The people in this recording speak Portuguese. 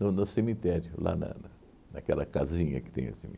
no no cemitério, lá na na naquela casinha que tem assim